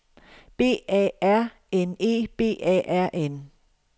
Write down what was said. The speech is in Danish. B A R N E B A R N